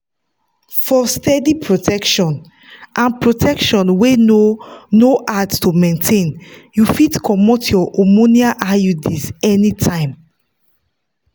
for steady protection and protection wey no no hard to maintain you fit comot your hormonal iuds anytime.